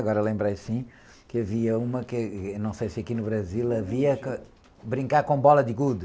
Agora lembrei, assim, que havia uma, que, não sei se aqui no Brasil havia, brincar com bola de gude.